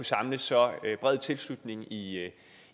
samle så bred tilslutning i